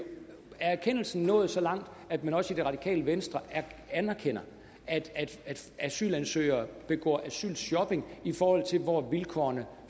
erkendelsen nået så langt at man også i det radikale venstre anerkender at asylansøgere begår asylshopping i forhold til hvor vilkårene